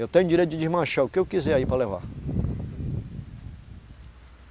Eu tenho direito de desmanchar o que eu quiser aí para levar.